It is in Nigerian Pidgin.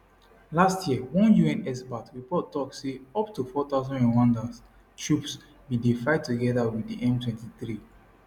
last year one un expert report tok say up to 4000 rwandan troops bin dey fight togeda wit di m23